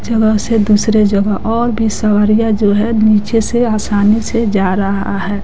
जगह से दूसरे जगह और भी सांवरिया जो है नीचे से आसानी से जा रहा है।